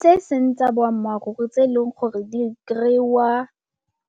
Tse e seng tsa boammaaruri tse e leng gore di kry-iwa,